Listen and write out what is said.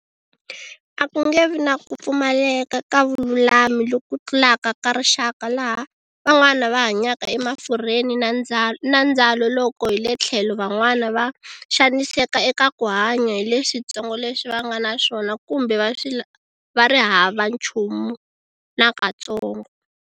A ku nge vi na ku pfumaleka ka vululami loku tlulaka ka rixaka laha van'wana va hanyaka emafurheni na ndzalo loko hi le tlhelo van'wana va xaniseka eka ku hanya hi leswitsongo leswi va nga na swona kumbe va ri hava nchumu nakatsongo.